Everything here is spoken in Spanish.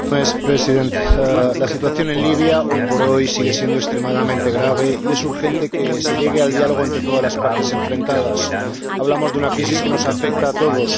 Señor Presidente, hoy por hoy, la situación en Libia sigue siendo extremadamente grave y es urgente que se llegue al diálogo entre todas las partes enfrentadas. Hablamos de una crisis que nos afecta a todos.